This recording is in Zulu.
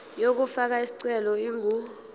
yokufaka isicelo ingu